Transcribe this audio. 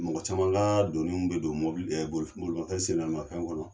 Mɔgɔ caman ka doniw bɛ don mobili bolimafɛn sen naani mafɛn kɔnɔ.